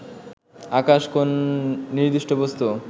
আকাশ কোন নির্দিষ্ট বস্তু